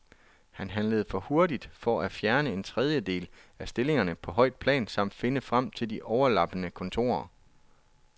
Han handlede hurtigt for at fjerne en tredjedel af stillingerne på højt plan samt finde frem til de overlappende kontorer.